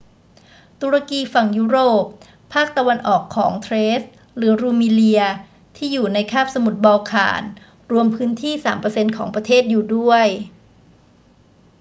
ตุรกีฝั่งยุโรป ภาคตะวันออกของเทรซหรือรูมีเลียที่่อยู่ในคาบสมุทรบอลข่าน รวมพื้นที่ 3% ของประเทศอยู่ด้วย